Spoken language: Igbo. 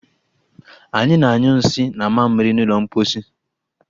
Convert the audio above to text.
Anyị na-anyụ nsị na mamịrị n'ụlọ mposi